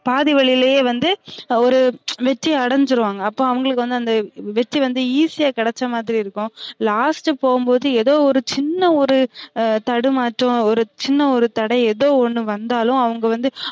பாதி வழிலையே வந்து ஒரு வெற்றி அடஞ்சிருவாங்க அப்ப அவுங்களுக்கு வந்து அந்த வெற்றி வந்து easy யா கிடைச்ச மாதிரி இருக்கும் last போகும்போது எதோ ஒரு சின்ன ஒரு தடுமாற்றம் ஒரு சின்ன ஒரு தடை எதோ ஒன்னு வந்தாலும் அவுங்க வந்து